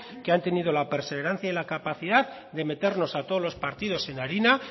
que han tenido la perseverancia y la capacidad de meternos a todos los partidos en harina